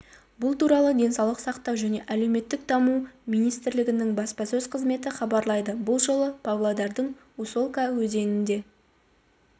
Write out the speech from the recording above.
бұл туралы денсаулық сақтау және әлеуметтік даму министрлігінің баспасөз қызметі хабарлайды бұл жолы павлодардың усолка өзенінде